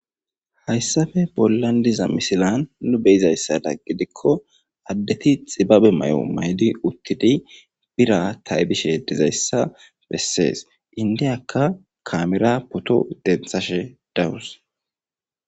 Haysape bolan de'iza misilen nu be'izasato gidiko adeti xibabe mayo mayidi uthidi bira taybishe dizaysa beses endiyaka kaameran pooto dentashe de'awus.